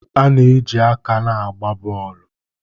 A na-eji aka na-agba bọọlụ.